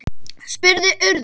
spurði Urður.